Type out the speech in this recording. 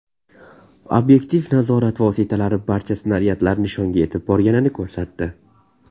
Obyektiv nazorat vositalari barcha snaryadlar nishonga yetib borganini ko‘rsatdi.